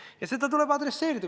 Ja seda tuleb adresseerida.